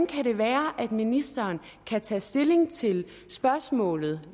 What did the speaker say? kan være at ministeren kan tage stilling til spørgsmålet